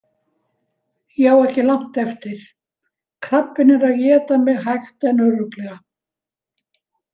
Ég á ekki langt eftir, krabbinn er að éta mig hægt en örugglega.